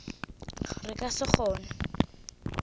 re ka se kgone go